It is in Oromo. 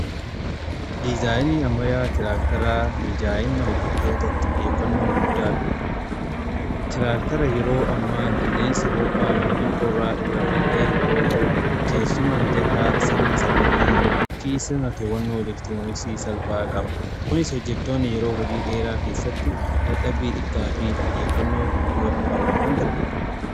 dizaayinii ammayyaa tiraaktaraa mijaayina hojjetootaf xijeeffannoo guddaa kenna. tiraaktara yeroo ammaa qilleensa ho'aa yookin qorraa irra kan eegnu yoo ta'u teessuma mijataa sirna sagalee fi sirna to'annoo elektirooniksii salphaa qaba. kunis hojjetoonni yeroo hojii dheeraa keessatti dadhabii xiqqaa fi xiyeeffannoo guutuu akka qabaatan gargaara.